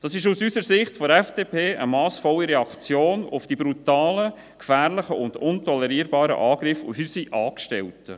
Es ist aus unserer Sicht, der Sicht der FDP, eine massvolle Reaktion auf die brutalen, gefährlichen und nicht tolerierbaren Angriffe auf unsere Angestellten.